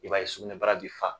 I b'a ye sugunɛ bara bi fa.